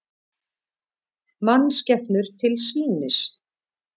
Mannskepnur til sýnis